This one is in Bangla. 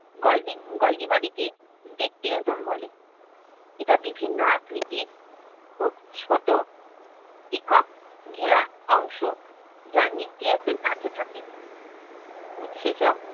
গলবিং~ golgi body জোম বলে। এটা বিভিন্ন আকৃতির খুব ছোট একক ঘেরা অংশ যা নিউক্লিয়াসের কাছে থাকে। উৎসেচক